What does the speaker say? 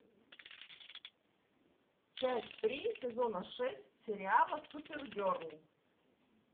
часть три сезона шесть сериала супергерл